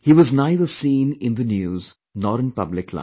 He was neither seen in the news nor in public life